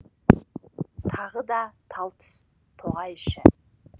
тағы да тал түс тоғай іші